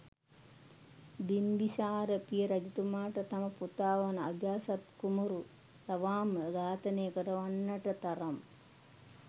බිම්බිසාර පියා රජතුමාව තම පුතා වන අජාසත් කුමාරු ලවාම ඝාතනය කරවන්නට තරම්